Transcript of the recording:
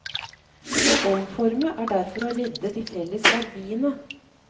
Å omforme er derfor å redde de felles verdiene.